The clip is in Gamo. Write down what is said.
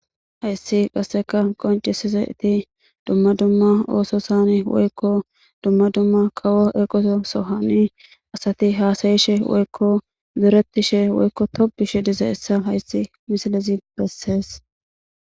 hayssi qasseka qoncisizeti dumma dumma ooso sani woykko dumma dumma kawo eqoso sohani asati haasayishe woykko zuretishe woykko tobushe diza issa hayssi misilizi bessees